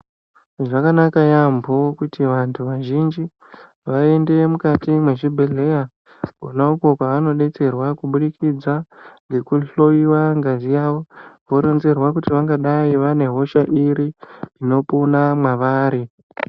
Zvakanaka yambo kuti vantu vazhinji vaende mukati mezvibhedhlera Kona uko kwanodetserwa kubudikidza ngekuhloiwa ngazi yawo woronzerwa kuti vangadai vane hosha iri inopona mavari.